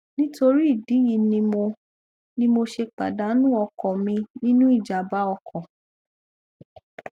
nítorí ìdí èyí ni mo ni mo ṣe pàdánù ọkọ mi nínú ìjàmbá ọkọ